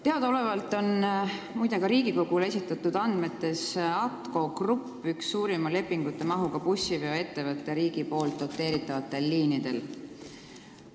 Teadaolevalt on ka Riigikogule esitatud andmete järgi ATKO Grupp üks suurima lepingumahuga bussiveoettevõte riigi doteeritavatel liinidel.